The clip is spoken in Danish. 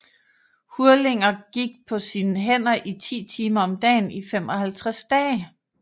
Hurlinger gik på sine hænder 10 timer om dagen i 55 dage